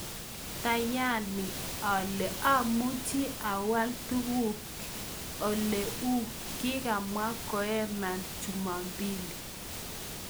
"Taayani ale amuchi awal tuguk ing ole uu," kikamwa Koeman Jumapili.